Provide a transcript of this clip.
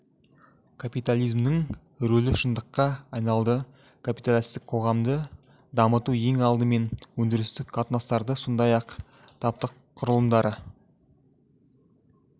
капитализмнің рөлі шындыққа айналды капиталистік қоғамды дамыту ең алдымен өндірістік қатынастарды сондай ақ таптық құрылымдарды